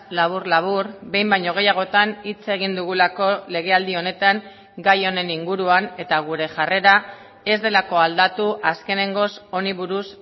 labur labur behin baino gehiagotan hitz egin dugulako legealdi honetan gai honen inguruan eta gure jarrera ez delako aldatu azkenengoz honi buruz